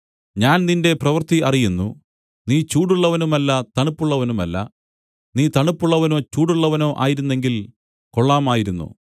ഞാൻ നിന്റെ പ്രവൃത്തി അറിയുന്നു നീ ചൂടുള്ളവനുമല്ല തണുപ്പുള്ളവനുമല്ല നീ തണുപ്പുള്ളവനോ ചൂടുള്ളവനോ ആയിരുന്നെങ്കിൽ കൊള്ളാമായിരുന്നു